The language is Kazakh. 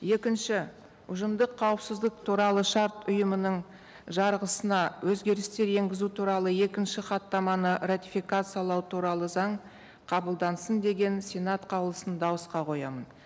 екінші ұжымдық қауіпсіздік туралы шарт ұйымының жарғысына өзгерістер енгізу туралы екінші хаттаманы ратификациялау туралы заң қабылдансын деген сенат қаулысын дауысқа қоямын